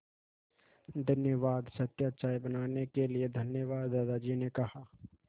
धन्यवाद सत्या चाय बनाने के लिए धन्यवाद दादाजी ने कहा